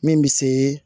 Min bɛ se